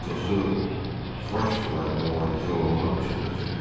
Atosu Forəş sularına müalicə olunmaq üçün ötürdük.